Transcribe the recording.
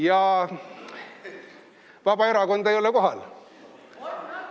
Kas Vabaerakonda ei ole kohal?